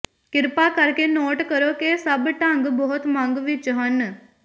ਕਿਰਪਾ ਕਰਕੇ ਨੋਟ ਕਰੋ ਕਿ ਸਭ ਢੰਗ ਬਹੁਤ ਮੰਗ ਵਿੱਚ ਹਨ